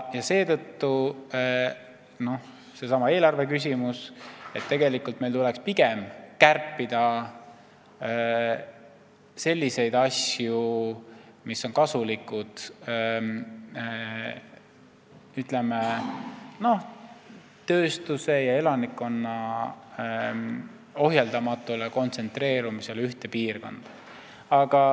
Seetõttu kerkib seesama eelarveküsimus – tegelikult meil tuleks pigem kärpida selliseid asju, mis on kasulikud, ütleme, tööstuse ja elanikkonna ohjeldamatule kontsentreerumisele ühte piirkonda.